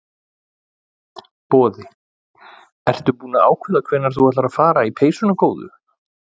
Boði: Ertu búin að ákveða hvenær þú ætlar að fara í peysuna góðu?